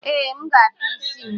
Ee, M ga-atọ isi m.